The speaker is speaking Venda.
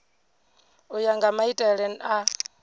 u ya nga maitele a